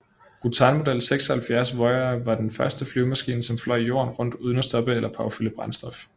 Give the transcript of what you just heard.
Rutan Model 76 Voyager var den første flyvemaskine som fløj jorden rundt uden at stoppe eller påfylde brændstof